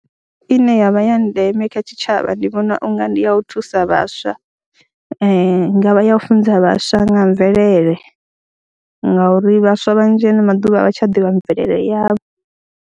Ine ya vha ya ndeme kha tshitshavha ndi vhona u nga ndi ya u thusa vhaswa, hu nga vha ya u funza vhaswa nga mvelele ngauri vhaswa vhanzhi ano maḓuvha a vha tsha ḓivha mvelele yavho.